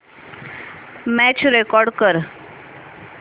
match record कर